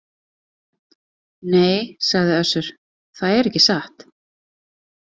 Nei, sagði Össur,- það er ekki satt.